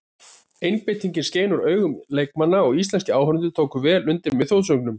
Einbeitingin skein úr augun leikmanna og íslenskir áhorfendur tóku vel undir með þjóðsöngnum.